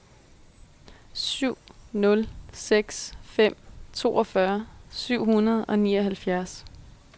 syv nul seks fem toogfyrre syv hundrede og nioghalvfjerds